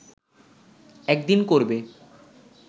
একদিন করবে